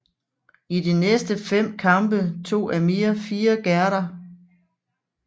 I de næste fem kampe tog Amir fire gærder